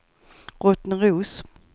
Rottneros